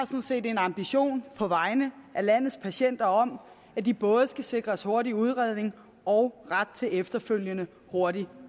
set en ambition på vegne af landes patienter om at de både skal sikres hurtig udredning og ret til efterfølgende hurtig